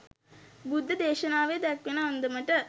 බුද්ධ දේශනාවේ දැක්වෙන අන්දමට